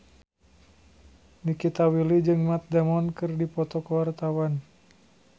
Nikita Willy jeung Matt Damon keur dipoto ku wartawan